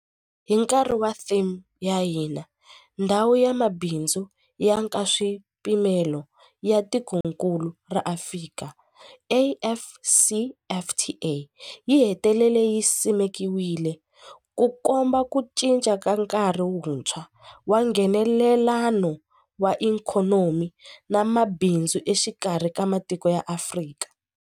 Hi nkarhi wa theme ya hina, Ndhawu ya Mabindzu ya Nkaswipimelo ya Tikokulu ra Afrika, AfCFTA yi hetelele yi simekiwile, Ku komba ku cinca ka nkarhi wuntshwa wa Nghenelelano wa ikhonomi na mabindzu exikarhi ka matiko ya Afrika.